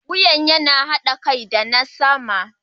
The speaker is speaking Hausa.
Wuyan yana haɗa kai da na sama.